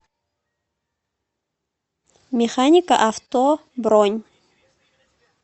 механика авто бронь